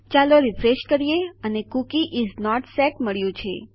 ચાલો રીફ્રેશ કરીએ અને કૂકી ઇસ નોટ સેટ મળ્યું છે